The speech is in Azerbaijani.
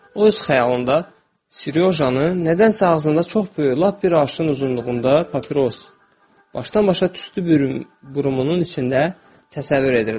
O öz xəyalında Sirojanı nədənsə ağzında çox böyük, lap bir arşın uzunluğunda papiros başdan-başa tüstü burumunun içində təsəvvür edirdi.